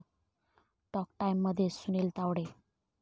talk टाइम'मध्ये सुनील तावडे